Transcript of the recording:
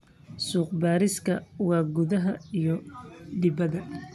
Suuqa bariiska waa gudaha iyo dibaddaba.